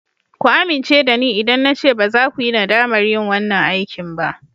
Ku amince da ni idan na ce baza ku yi nadamar yin wanan aikin ba.